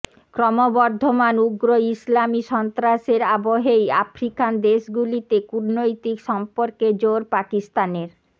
ক্রমবর্ধমান উগ্র ইসলামী সন্ত্রাসের আবহেই আফ্রিকান দেশগুলিতে কূটনৈতিক সম্পর্কে জোর পাকিস্তানের